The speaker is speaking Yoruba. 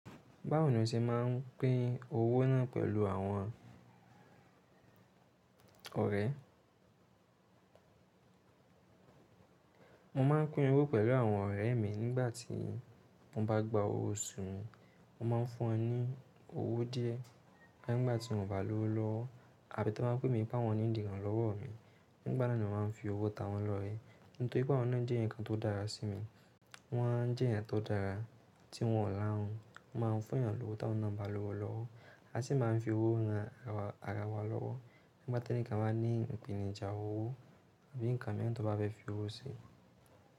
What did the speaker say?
Báwo ni o ṣe máa ń pín owó náà pẹ̀lú àwọn ọ̀rẹ́? Mo máa ń pín owó pẹ̀lú àwọn ọ̀rẹ́ mi nígbà tí mo bá gba owó oṣù mi. Mo máa ń fún wọn ní owó díẹ̀ ká nígbà tí wọ́n bá lówo lowo àbí tí wọ́n bá pè mí pé awọ́n need íràn lọ́wọ́ mi. Nígbà náà ni màá fi owó ta wọ́n lọ́rẹ. Nítorí pé àwọn náà jẹ́ eeyan kan tó dára sí mi. Wọ́n jẹ́ ẹ̀yàn tó dára tí wọ́n ọ̀ lahun. Won máa ń fún yan lowó tí àwọn náà bá lówo lọ́wọ́. A sì máa ń fi owó ran ara wa lọ́wọ́ nígbà tí ẹnìkan bá ní ìpènijà owó bí ǹkan mìíràn tó bá bẹ́ fi owó se.